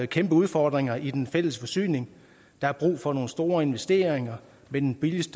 kæmpe udfordringer i den fælles forsyning der er brug for nogle store investeringer med den billigst